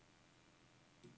Anvend drev A til disketter.